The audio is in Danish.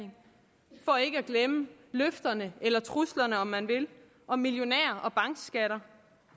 og ikke at glemme løfterne eller truslerne om man vil om millionær